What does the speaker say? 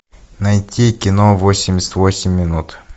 найти кино восемьдесят восемь минут